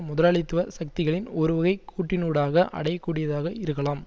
முதலாளித்துவ சக்திகளின் ஒருவகை கூட்டினூடாக அடையக்கூடியதாக இருக்கலாம்